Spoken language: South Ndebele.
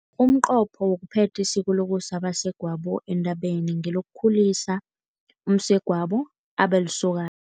Umnqopho wokuphetha isiko lokusa abasegwabo entabeni, ngelokukhulisa umsegwabo abe lisokana.